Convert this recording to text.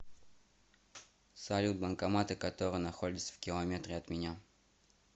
салют банкоматы которые находятся в километре от меня